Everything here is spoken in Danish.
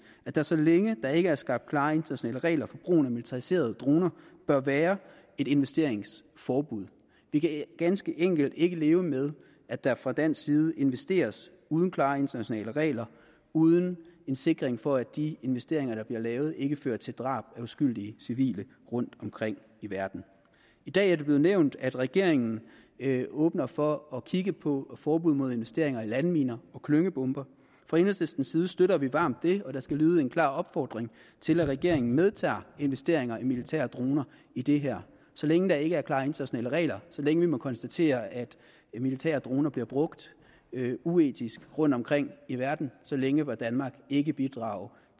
at der så længe der ikke er skabt klare internationale regler for brugen af militariserede droner bør være et investeringsforbud vi kan ganske enkelt ikke leve med at der fra dansk side investeres uden klare internationale regler uden en sikring for at de investeringer der bliver lavet ikke fører til drab af uskyldige civile rundtomkring i verden i dag er det blevet nævnt at regeringen åbner for at kigge på et forbud mod investeringer i landminer og klyngebomber fra enhedslistens side støtter vi varmt det og der skal lyde en klar opfordring til at regeringen medtager investeringer i militære droner i det her så længe der ikke er klare internationale regler så længe vi må konstatere at militære droner bliver brugt uetisk rundtomkring i verden så længe bør danmark ikke bidrage